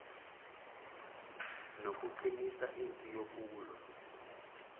nokuqinisa impi yokulwa